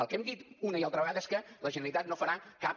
el que hem dit una i altra vegada és que la generalitat no farà cap